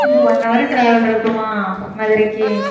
இன்னும் one hour travel இருக்குமா? மதுரைக்கு